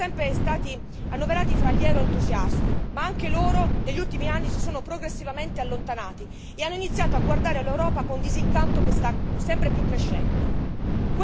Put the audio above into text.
Gli italiani sono sempre stati annoverati fra gli euroentusiasti, ma anche loro negli ultimi anni si sono progressivamente allontanati e hanno iniziato a guardare all'Europa con un disincanto che sta sempre più crescendo.